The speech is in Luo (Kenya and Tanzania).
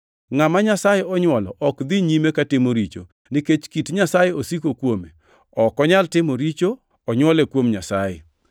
Ngʼama Nyasaye onywolo ok dhi nyime katimo richo, nikech kit Nyasaye osiko kuome. Ok onyal timo richo onywole kuom Nyasaye.